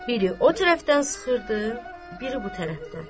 Biri o tərəfdən sıxırdı, biri bu tərəfdən.